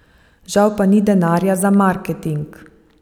Žal pa ni denarja za marketing.